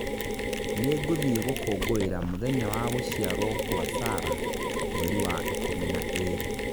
Nĩngũthiĩ gũkũngũĩra mũthenya wa gũciarwo kwa Sarah mweri wa ikũmi na ĩĩrĩ